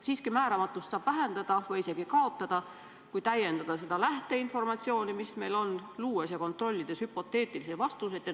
Siiski, määramatust saab vähendada või selle isegi kaotada, kui täiendada lähteinformatsiooni, mis meil on, luues ja kontrollides hüpoteetilisi vastuseid.